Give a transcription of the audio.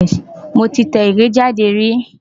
Mo ti tẹ ìwé jáde rí.